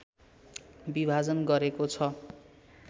विभाजन गरेको छ